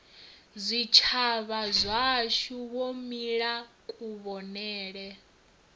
zwitshavha zwashu wo mila kuvhonele